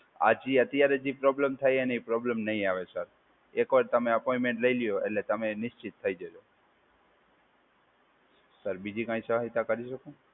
આ જે ત્યારે જે પ્રોબ્લેમ થાય એનીય પ્રોબ્લેમ નહી આવે સર. એકવાર તમે અપોઈન્ટમેન્ટ લઈ લ્યો એટલે તમે નિશ્ચિત થઈ જજો. સર, બીજી કઈ સહાયતા કરી શકું?